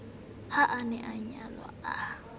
ha a na anyalwe a